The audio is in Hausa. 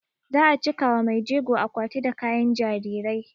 Za a cika wa maijegon akwati da kayan jarirai